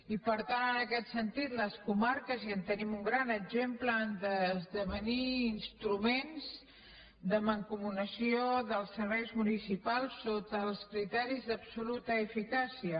i per tant en aquest sentit les comarques i en tenim un gran exemple han d’esdevenir instruments de mancomunació dels serveis municipals sota els criteris d’absoluta eficàcia